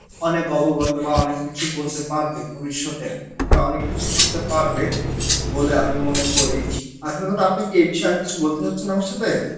অনেক অবগত বা অনেক কিছু বলতে পারবে ভবিষৎ এ বা অনেক কিছু বলতে পারবে বলে আমি মনে করি আসল কথা আপনি কি এই বিষয় আর কিছু বলতে চাচ্ছেন আমার সাথে?